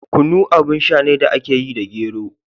Kunu abin sha ne da aka yi da gero.